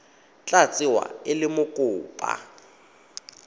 tla tsewa e le mokopa